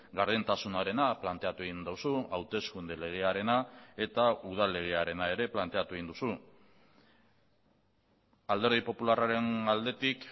gardentasunarena planteatu egin duzu hauteskunde legearena eta udal legearena ere planteatu egin duzu alderdi popularraren aldetik